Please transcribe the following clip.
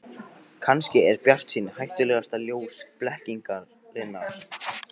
Kannski er bjartsýnin hættulegasta ljós blekkingarinnar.